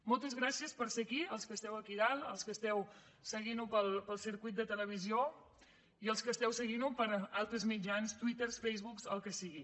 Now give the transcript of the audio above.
moltes gràcies per ser aquí als que esteu aquí a dalt als que esteu seguint ho pel circuit de televisió i als que esteu seguint ho per altres mitjans twitter facebook el que sigui